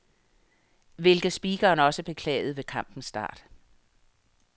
Hvilket speakeren også beklagede ved kampens start.